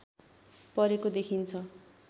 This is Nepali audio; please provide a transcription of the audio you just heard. परेको देखिन्छ